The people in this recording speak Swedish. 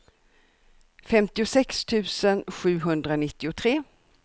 femtiosex tusen sjuhundranittiotre